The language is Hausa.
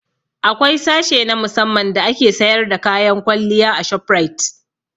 Akwai sashe na musamman da ake sayar da kayan kwalliya a shoprite